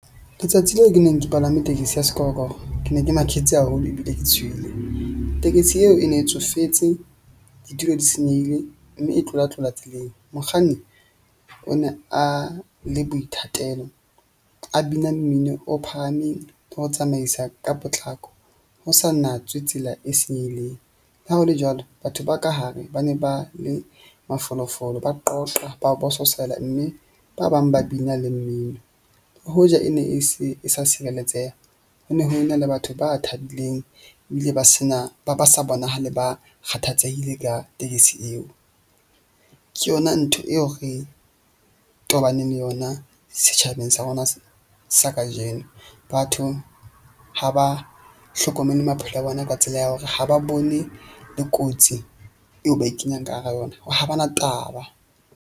Letsatsi leo ke neng ke palame tekesi ya sekorokoro. Ke ne ke maketse haholo ebile ke tshohile tekesi eo e ne e tsofetse. Ditulo di senyehile mme e tlola tlola tseleng. Mokganni o ne a le boithatelo, a bina mmino o phahameng ho tsamaisa ka potlako ho sa natswe tsela e senyehileng. Le ha ho le jwalo, batho ba ka hare ba ne ba le mafolofolo, ba qoqa, ba o bososela mme ba bang ba bina le mmino. Hoja e ne e se e sa sireletseha, ho ne ho e na le batho ba thabileng ebile ba sena ba ba sa bonahale ba kgathatsehile ka tekesi eo. Ke yona ntho eo re tobaneng le yona setjhabeng sa rona sa kajeno. Batho ha ba hlokomele maphelo a bona ka tsela ya hore ha ba bone le kotsi eo ba e kenyang ka hara yona ha ba na taba.